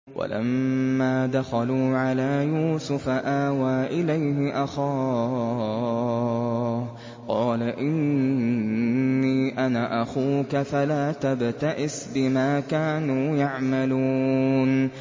وَلَمَّا دَخَلُوا عَلَىٰ يُوسُفَ آوَىٰ إِلَيْهِ أَخَاهُ ۖ قَالَ إِنِّي أَنَا أَخُوكَ فَلَا تَبْتَئِسْ بِمَا كَانُوا يَعْمَلُونَ